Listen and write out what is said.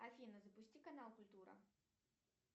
афина запусти канал культура